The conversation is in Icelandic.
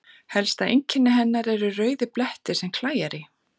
Helsta einkenni hennar eru rauðir blettir sem klæjar í.